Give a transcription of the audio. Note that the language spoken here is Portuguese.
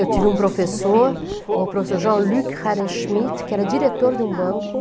Eu tive um professor, o professor Jean-Luc Herrenschmidt, que era diretor de um banco.